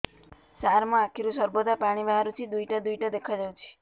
ସାର ମୋ ଆଖିରୁ ସର୍ବଦା ପାଣି ବାହାରୁଛି ଦୁଇଟା ଦୁଇଟା ଦେଖାଯାଉଛି